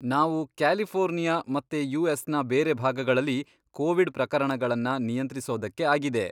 ನಾವು ಕ್ಯಾಲಿಫೋರ್ನಿಯಾ ಮತ್ತೆ ಯು.ಎಸ್.ನ ಬೇರೆ ಭಾಗಗಳಲ್ಲಿ ಕೋವಿಡ್ ಪ್ರಕರಣಗಳನ್ನ ನಿಯಂತ್ರಿಸೋದಕ್ಕೆ ಆಗಿದೆ.